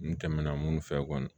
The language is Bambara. N tɛmɛna minnu fɛ kɔni